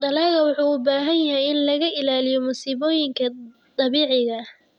Dalaggu wuxuu u baahan yahay in laga ilaaliyo masiibooyinka dabiiciga ah.